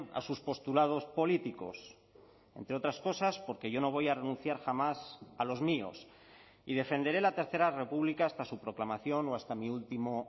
a sus postulados políticos entre otras cosas porque yo no voy a renunciar jamás a los míos y defenderé la tercera república hasta su proclamación o hasta mi último